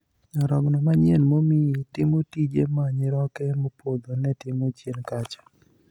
Nyarogno manyien momiyi timo tije ma nyiroke mopodho ne timo chien kacha.